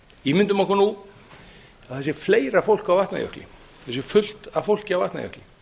ímyndum okkur nú að það sé fleira fólk á vatnajökli það sé fullt af fólki á vatnajökli